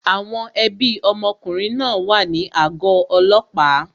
Àwọn ẹbí ọmọkùnrin náà wà ní àgọ́ ọlọ́pàá